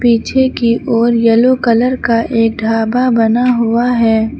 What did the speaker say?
पीछे की ओर येलो कलर का एक ढाबा बना हुआ है।